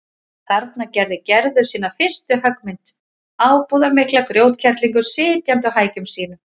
Þarna gerði Gerður sína fyrstu höggmynd, ábúðarmikla grjótkerlingu sitjandi á hækjum sínum.